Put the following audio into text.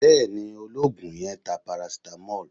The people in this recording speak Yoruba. Bẹ́ẹ̀ ni, olóògùn yẹn ń ta paracetamol